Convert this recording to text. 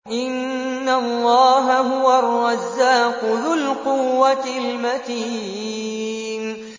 إِنَّ اللَّهَ هُوَ الرَّزَّاقُ ذُو الْقُوَّةِ الْمَتِينُ